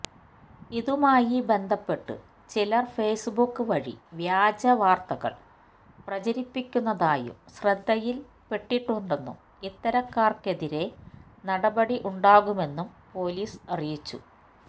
ഇതുമായി ബന്ധപ്പെട്ട് ചിലര് ഫേസ്ബുക്ക് വഴി വ്യാജ വാര്ത്തകള് പ്രചരിപ്പിക്കുന്നതായും ശ്രദ്ധയില്പ്പെട്ടിട്ടുണ്ടെന്നും ഇത്തരക്കാര്ക്കെതിരേ നടപടി ഉണ്ടാകുമെന്നും പൊലിസ് അറിയിച്ചു